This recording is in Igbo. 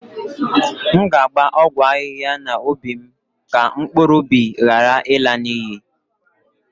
M ga-agba ọgwụ ahihia n'ubi m ka mkpụrụ ụbi ghara ịla n'iyi